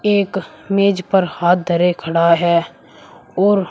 एक मेज पर हाथ धरे खड़ा है और--